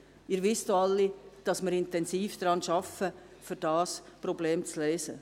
Sie wissen auch alle, dass wir intensiv daran arbeiten, dieses Problem zu lösen.